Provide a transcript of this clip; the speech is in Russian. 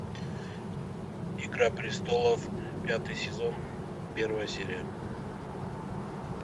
игра престолов пятый сезон первая серия